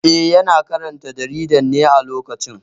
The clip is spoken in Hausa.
Eh, yana karanta jarida ne a lokacin